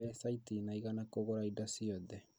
Mbeca itinaigana kũgũra indo ciothe